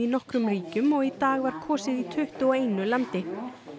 nokkrum ríkjum og í dag var kosið í tuttugu og einu landi